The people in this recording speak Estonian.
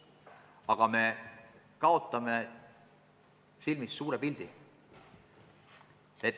Samas me kaotame silme eest suure pildi.